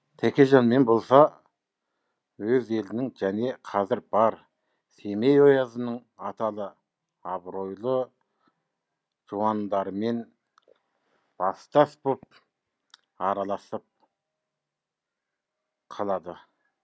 тәкежанмен болса өз елінің және қазір бар семей оязының аталы абыройлы жуандарымен бастас боп араласып қалады